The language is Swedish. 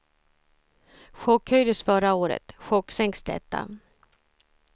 Chockhöjdes förra året, chocksänks detta.